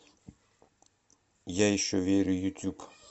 я еще верю ютюб